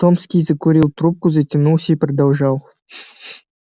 томский закурил трубку затянулся и продолжал